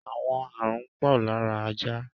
Àwọn ààrùn pọ̀ lára ajá.